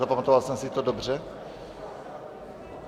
Zapamatoval jsem si to dobře?